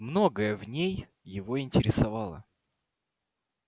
многое в ней его интересовало